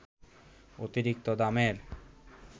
অতিরিক্ত দামের